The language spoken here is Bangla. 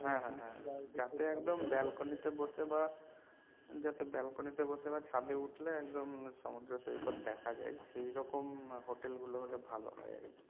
হ্যাঁ হ্যাঁ হ্যাঁ যাতে একদম balcony তে বসে বা যাতে balcony তে বসে বা ছাদে উঠলে একদম সমুদ্র সৈকত দেখা যায় সেই রকম হোটেল গুলো হলে ভালো হয় আর কি